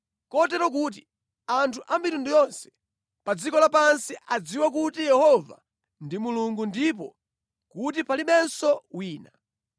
kotero kuti anthu a mitundu yonse pa dziko lapansi adziwe kuti Yehova ndi Mulungu ndipo kuti palibenso wina.